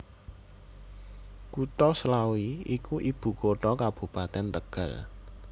Kutha Slawi iku ibukutha Kabupatèn Tegal